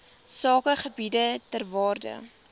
sakegebiede ter waarde